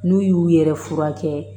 N'u y'u yɛrɛ furakɛ